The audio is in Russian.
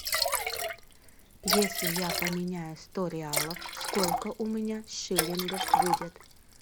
если я поменяю сто реалов сколько у меня шиллингов будет